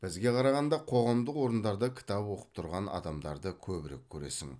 бізге қарағанда қоғамдық орындарда кітап оқып тұрған адамдарды көбірек көресің